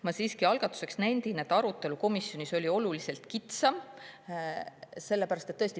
Ma siiski algatuseks nendin, et arutelu komisjonis oli oluliselt kitsam.